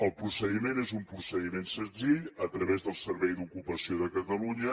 el procediment és un procediment senzill a través del servei d’ocupació de catalunya